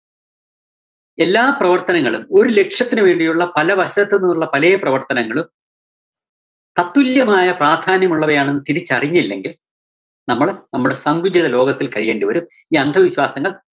എല്ലാ പ്രവര്‍ത്തനങ്ങളും ഒരു ലക്ഷ്യത്തിന് വേണ്ടിയുള്ള പല വശത്തു നിന്നുള്ള പലേ പ്രവര്‍ത്തനങ്ങളും തത്തുല്യമായ പ്രധാന്യമുള്ളവയാണെന്ന് തിരിച്ചറിഞ്ഞില്ലെങ്കില്‍ നമ്മള് നമ്മുടെ സങ്കുചിത ലോകത്തില്‍ കഴിയേണ്ടിവരും. ഈ അന്ധവിശ്വാസങ്ങള്‍